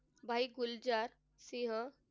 भाई गुलजार सिंह,